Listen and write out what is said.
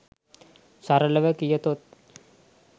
සරලව කියතොත්